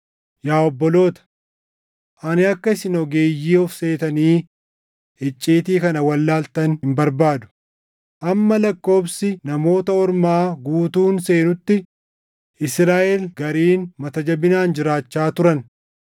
Yaa obboloota, ani akka isin ogeeyyii of seetanii icciitii kana wallaaltan hin barbaadu; hamma lakkoobsi Namoota Ormaa guutuun seenutti Israaʼel gariin mata jabinaan jiraachaa turan.